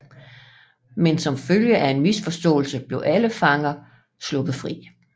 Men som følge af en misforståelse blev alle fanger sluppet fri